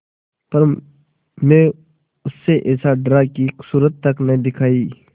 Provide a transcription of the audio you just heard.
पर मैं उससे ऐसा डरा कि सूरत तक न दिखायी